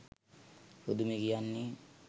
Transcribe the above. පුදුමේ කියන්නේ,